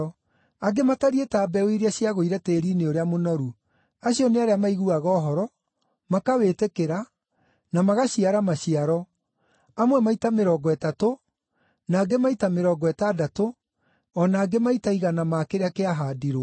Angĩ matariĩ ta mbeũ iria ciagũire tĩĩri-inĩ ũrĩa mũnoru. Acio nĩ arĩa maiguaga ũhoro, makawĩtĩkĩra, na magaciara maciaro, amwe maita mĩrongo ĩtatũ, na angĩ maita mĩrongo ĩtandatũ, o na angĩ maita igana ma kĩrĩa kĩahaandirwo.”